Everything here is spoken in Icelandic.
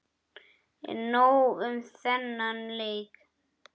En nóg um þennan leik.